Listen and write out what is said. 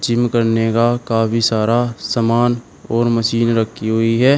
Gym करने का काफी सारा सामान और मशीन रखी हुई है।